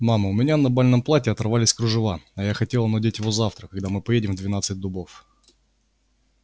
мама у меня на бальном платье отпоролись кружева а я хотела надеть его завтра когда мы поедем в двенадцать дубов